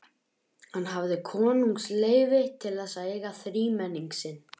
Hann hafði konungsleyfi til þess að eiga þrímenning sinn.